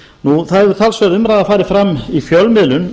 það hefur talsverð umræða farið fram í fjölmiðlum